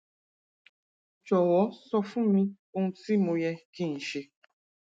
jọwọ sọ fún mi ohun tí mo yẹ kí n ṣe